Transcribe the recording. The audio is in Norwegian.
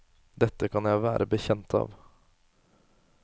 Dette kan jeg være bekjent av.